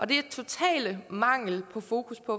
det er total mangel på fokus på